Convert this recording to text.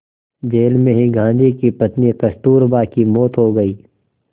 jail में ही गांधी की पत्नी कस्तूरबा की मौत हो गई